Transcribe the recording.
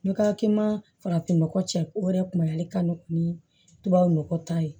N ka ki ma farafinnɔgɔ cɛ o yɛrɛ kun y'ale ka nɔgɔ ni tubabu nɔgɔ ta ye